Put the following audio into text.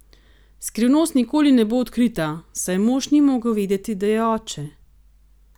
Skrivnost nikoli ne bo odkrita, saj mož ni mogel vedeti, da je oče.